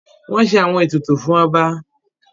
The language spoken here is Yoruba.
Wọ́n ṣe àwọn ètùtù fún ọba.